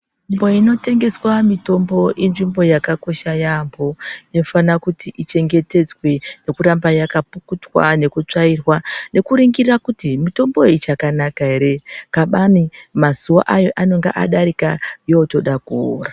Nzvimbo inotengeswe mutombo inzvimbo yakakosha maningi yaambo inofana kuti ichingetedzwe nekuramba yakapukutwa nekutsvairwa nekuningira kuti mutombo iyi ichakanaka ere. Kabani mazuwa ayo anenge adarika yotoda kuora.